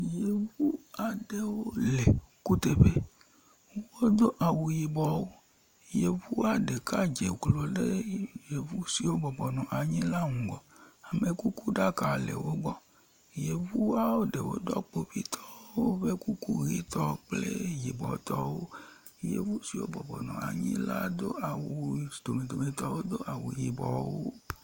Yevu aɖewo le kuteƒe. Wodo awu yibɔ. Yevua ɖeka dze klo ɖe ye…yevu siwo bɔbɔ nɔ anyi la ŋgɔ, amekukuɖaka le wo gbɔ. Yevua ɖewo dɔ kpovitɔwo ƒe kuku ʋetɔ kple yibɔtɔwo. Yevu siwo bɔbɔnɔ anyi la do awu s… domedometɔwo do awu yibɔtɔwo.